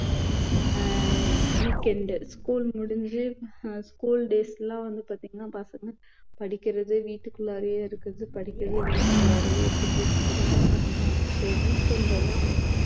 அஹ் weekendschool முடிஞ்சு school days ல்லாம் வந்து பார்த்தீங்கன்னா பசங்க படிக்கிறது வீட்டுக்குள்ளாறயே இருக்குறது படிக்க வீட்டுக்குள்ளாறயே இருக்குறது இதுதான் பண்றாங்க soweekend ல அவங்க